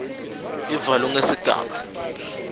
b ivalwe ngesigaba